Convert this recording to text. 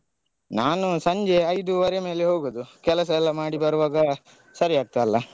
ನಾನು ಸಂಜೆ ಐದುವರೆ ಮೇಲೆ ಹೋಗುದು ಕೆಲಸ ಎಲ್ಲ ಮಾಡಿ ಬರುವಾಗ ಸರಿ ಆಗ್ತದಲ್ಲ.